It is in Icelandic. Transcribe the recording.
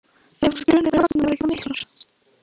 Ef drunurnar í vagninum verði ekki of miklar.